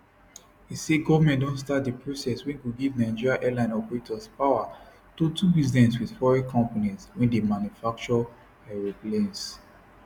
e say goment don start di process wey go give nigeria airline operators power to do business wit foreign companies wey dey manufacture aeroplanes